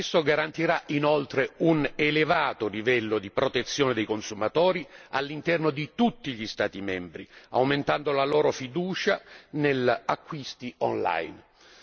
Esso garantirà inoltre un elevato livello di protezione dei consumatori all'interno di tutti gli Stati membri, aumentando la loro fiducia negli acquisti online.